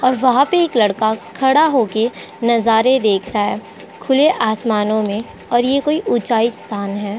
और वहा पे एक लड़का खड़ा होके नजारे देख रहा है खुले आसमानो में और ये कोई ऊचाई आस्थान है।